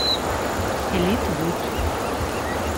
элит вуд